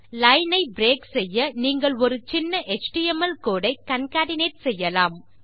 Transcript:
line ஐ break செய்ய நீங்கள் ஒரு சின்ன எச்டிஎம்எல் கோடு ஐ கான்கேட்னேட் செய்யலாம்